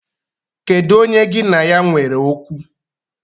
Kedu onye gi na ya nwere okwu?